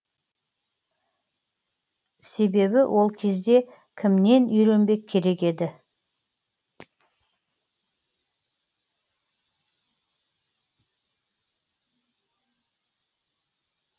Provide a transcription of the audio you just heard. себебі ол кезде кімнен үйренбек керек еді